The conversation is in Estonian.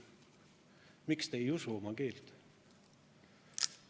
Miks te ei usu oma keelt?